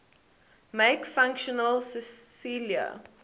make functional cilia